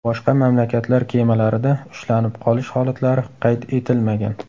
Boshqa mamlakatlar kemalarida ushlanib qolish holatlari qayd etilmagan.